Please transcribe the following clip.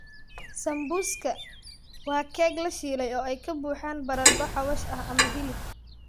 Samuuska waa keeg la shiilay oo ay ka buuxaan baradho xawaash ah ama hilib.